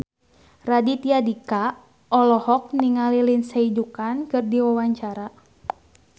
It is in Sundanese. Raditya Dika olohok ningali Lindsay Ducan keur diwawancara